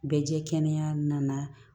Bɛɛ jɛ kɛnɛya nana